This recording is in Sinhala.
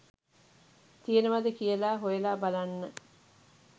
තියෙනවද කියලා හොයලා බලන්න